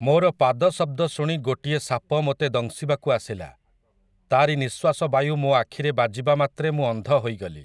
ମୋର ପାଦ ଶବ୍ଦ ଶୁଣି ଗୋଟିଏ ସାପ ମୋତେ ଦଂଶିବାକୁ ଆସିଲା, ତା'ରି ନିଶ୍ୱାସବାୟୁ ମୋ ଆଖିରେ ବାଜିବାମାତ୍ରେ ମୁଁ ଅନ୍ଧ ହୋଇଗଲି ।